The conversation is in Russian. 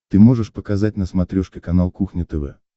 ты можешь показать на смотрешке канал кухня тв